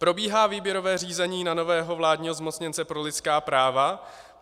Probíhá výběrové řízení na nového vládního zmocněnce pro lidská práva.